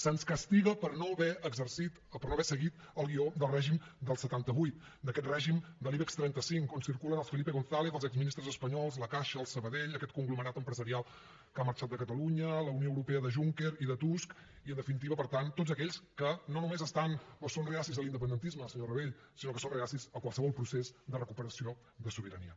se’ns castiga per no haver seguit el guió del règim del setanta vuit d’aquest règim de l’ibex trenta cinc on circulen els felipe gonzález els exministres espanyols la caixa el sabadell aquest conglomerat empresarial que ha marxat de catalunya la unió europea de juncker i de tusk i en definitiva per tant tots aquells que no només són refractaris a l’independentisme senyor rabell sinó que són refractaris a qualsevol procés de recuperació de sobirania